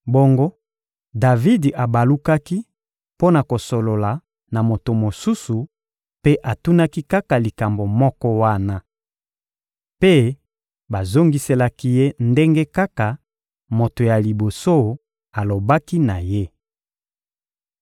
Bongo Davidi abalukaki mpo na kosolola na moto mosusu mpe atunaki kaka likambo moko wana. Mpe bazongiselaki ye ndenge kaka moto ya liboso alobaki na ye.